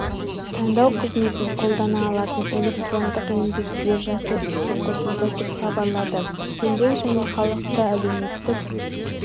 таңдау қызметін қолдана алатын электрондық еңбек биржасы іске қосылды деп хабарлады еңбек және халықты әлеуметтік